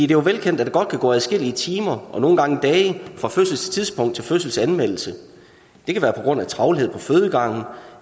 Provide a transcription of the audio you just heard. jo er velkendt at der godt kan gå adskillige timer og nogle gange dage fra fødselstidspunkt til fødselsanmeldelse det kan være på grund af travlhed på fødegangen